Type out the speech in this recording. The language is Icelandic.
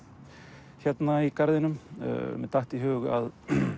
hérna í garðinum mér datt í hug að